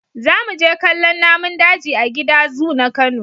Za mu je kallon namun daji a gida zu na Kano.